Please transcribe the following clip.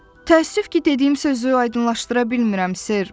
Təəssüf ki, dediyim sözü aydınlaşdıra bilmirəm sir.